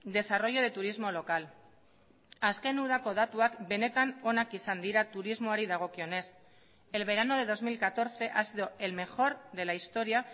desarrollo de turismo local azken udako datuak benetan onak izan dira turismoari dagokionez el verano de dos mil catorce ha sido el mejor de la historia